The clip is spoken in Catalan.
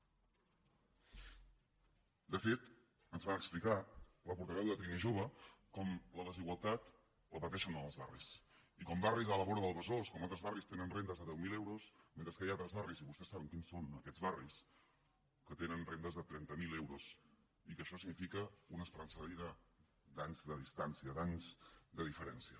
de fet ens va explicar la portaveu de trinijove com la desigualtat la pateixen als barris i com barris a la vora del besòs com altres barris tenen rendes de deu mil euros mentre que hi ha altres barris i vostès saben quins són aquests barris que tenen rendes de trenta mil euros i que això significa una esperança de vida d’anys de distància d’anys de diferència